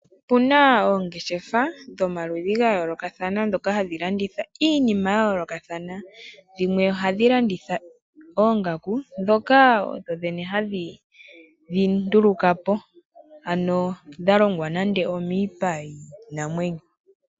Opuna oongeshefa dhomaludhi gayoolokathana ndhoka hadhi landitha iinima yayoolokathana. Dhimwe ohadhi landitha oongaku ndhoka odho dhene hadhi dhinduluka po ano dhalongwa nande omiipa yiinamwenyo.